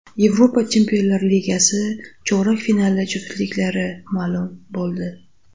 Yevropa Chempionlar ligasi chorak finali juftliklari ma’lum bo‘ldi.